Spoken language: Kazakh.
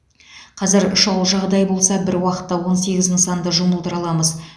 қазір шұғыл жағдай болса бір уақытта он сегіз нысанды жұмылдыра аламыз